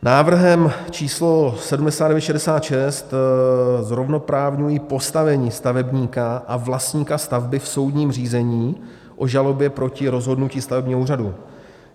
Návrhem číslo 7966 zrovnoprávňuji postavení stavebníka a vlastníka stavby v soudním řízení o žalobě proti rozhodnutí stavebního úřadu.